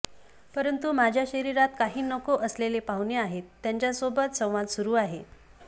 परंतु माझ्या शरीरात काही नको असलेले पाहुणे आहेत त्यांच्यासोबत संवाद सुरू आहे